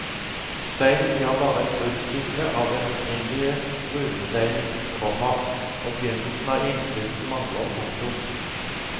Steinen utgjør bare et bruddstykke av den opprinnelige runesteinen, komma og begynnelsen av innskriften mangler. punktum